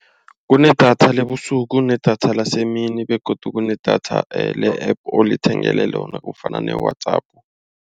Kunedatha lebusuku kunedatha lasemini begodu kunedatha le-App olithengele lona kufana ne-WhatsApp.